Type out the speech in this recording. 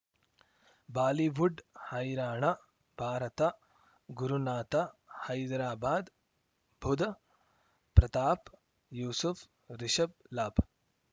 Bollywood ಹೈರಾಣ ಭಾರತ ಗುರುನಾಥ ಹೈದರಾಬಾದ್ ಬುಧ್ ಪ್ರತಾಪ್ ಯೂಸುಫ್ ರಿಷಬ್ ಲಾಭ